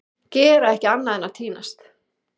Gera ekki annað en að týnast!